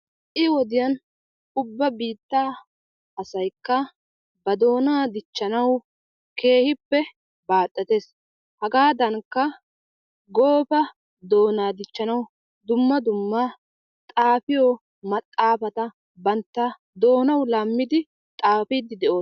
Ha''i wodiyan ubba biittaa asaykka ba doonaa dichchanawu keehippe baaxetees. Hagadankka Goofa doonaa dichchanawu dumma dumma xaafiyo maxaafaata bantta doonawu laammidi xaafidi de'oosona.